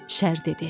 Şər dedi.